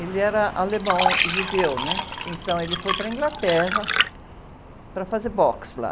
Ele era alemão judeu, né? Então ele foi para a Inglaterra para fazer boxe lá.